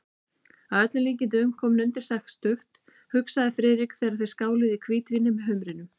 Að öllum líkindum kominn undir sextugt, hugsaði Friðrik, þegar þeir skáluðu í hvítvíni með humrinum.